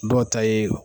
Dɔw ta ye